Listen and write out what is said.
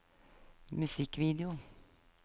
musikkvideo